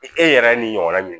E yɛrɛ ni ɲɔgɔn na